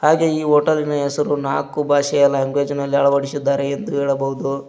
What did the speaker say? ಹಾಗೂ ಈ ಹೋಟಲಿನ ಹೆಸರು ನಾಲಕ್ಕು ಭಾಷೆಗಳಲ್ಲಿ ಲ್ಯಾಂಗ್ವೇಜ್ಅಲ್ಲಿ ಅಳವಳಿಸುತ್ತಾರೆ ಎಂದು ಹೇಳಬಹುದು.